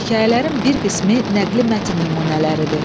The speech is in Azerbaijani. Hekayələrin bir qismi nəqli mətn nümunələridir.